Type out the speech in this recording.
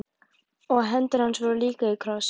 Og hendur hans voru líka í kross.